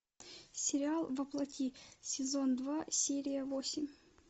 сериал во плоти сезон два серия восемь